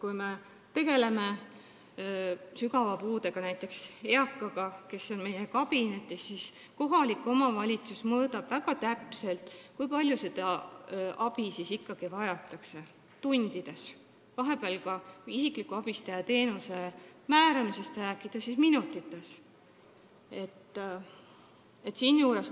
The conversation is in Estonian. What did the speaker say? Kui me tegeleme näiteks eakaga, kellel on sügav puue, siis on nii, et kohalik omavalitsus mõõdab väga täpselt tundides, kui palju seda abi ikkagi vajatakse, isikliku abistaja teenuse määramisel mõõdetakse seda minutites.